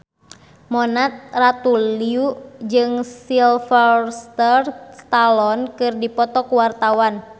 Mona Ratuliu jeung Sylvester Stallone keur dipoto ku wartawan